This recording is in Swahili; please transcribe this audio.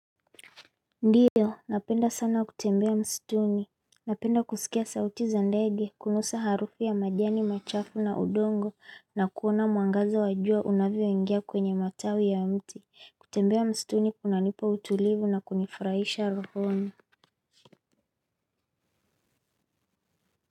Ndiyo, napenda sana kutembea msituni, napenda kusikia sauti za ndege, kunusa harufu ya majani, machafu na udongo, na kuona mwangaza wa jua unavyoingia kwenye matawi ya mti, kutembea msituni kunanipa utulivu na kunifurahisha rohoni.